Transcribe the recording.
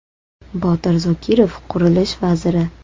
Botir Zokirov, qurilish vaziri.